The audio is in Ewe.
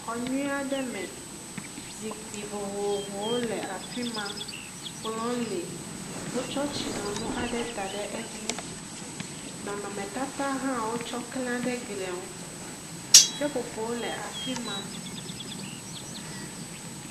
Xɔ nyuie aɖe me. Zikpi vovovowo le afi ma. Kplɔ̃ɔ̃ le. Wotsɔ tsinonu aɖe da ɖe edzi. Nɔnɔmetata hã wotsɔ klã ɖe glia ŋu. Seƒoƒowo le afi ma.